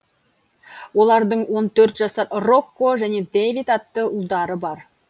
олардың он төрт жасар рокко және дэвид атты ұлдары бар